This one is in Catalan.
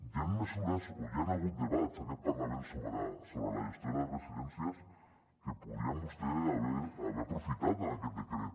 hi han mesures o hi han hagut debats en aquest parlament sobre la gestió de les residències que podrien vostès haver aprofitat en aquest decret